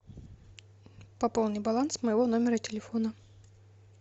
пополни баланс моего номера телефона